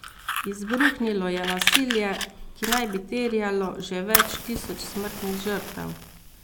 Izbruhnilo je nasilje, ki naj bi terjalo že več tisoč smrtnih žrtev.